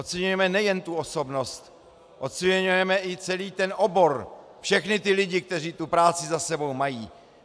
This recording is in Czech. Oceňujeme nejen tu osobnosti, oceňujeme i celý ten obor, všechny ty lidi, kteří tu práci za sebou mají.